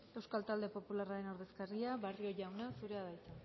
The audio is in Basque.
euskal talde popularren ordezkaria barrio jauna zurea da hitza